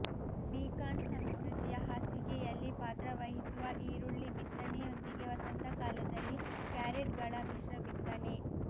beacon ಸಂಸ್ಕೃತಿಯ ಹಾಸಿಗೆಯಲ್ಲಿ ಪಾತ್ರವಹಿಸುವ ಈರುಳ್ಳಿ ಬಿತ್ತನೆಯೊಂದಿಗೆ ವಸಂತಕಾಲದಲ್ಲಿ ಕ್ಯಾರೆಟ್ಗಳ ಮಿಶ್ರ ಬಿತ್ತನೆ